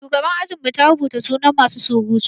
Shugaban ajin mu ta rubuta sunan masu surutu.